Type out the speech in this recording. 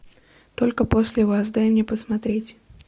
только после вас дай мне посмотреть